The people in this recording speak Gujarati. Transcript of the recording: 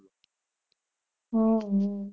હમ